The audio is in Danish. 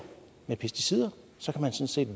med pesticider sådan set